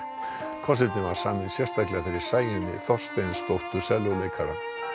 konsertinn var saminn sérstaklega fyrir Sæunni Þorsteinsdóttur sellóleikara